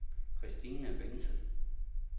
Kristina Bentsen